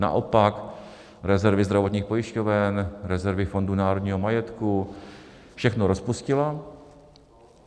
Naopak rezervy zdravotních pojišťoven, rezervy Fondu národního majetku - všechno rozpustila.